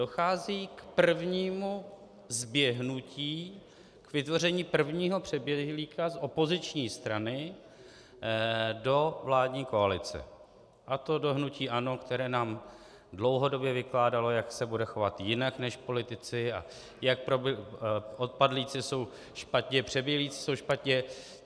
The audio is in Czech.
Dochází k prvnímu zběhnutí, vytvoření prvního přeběhlíka z opoziční strany do vládní koalice, a to do hnutí ANO, které nám dlouhodobě vykládalo, jak se bude chovat jinak než politici a jak odpadlíci jsou špatně, přeběhlíci jsou špatně.